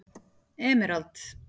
Emerald